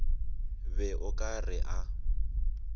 be o ka re a